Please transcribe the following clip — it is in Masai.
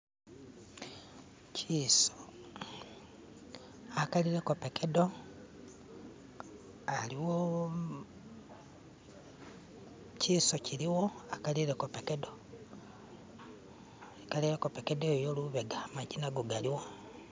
kyiso akalileko pekedo aliwo kiso kiliwo akalileko pekedo lubega maji nago galiwo